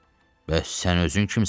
Bəs sən özün kimsən?